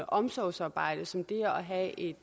omsorgsarbejde som det er at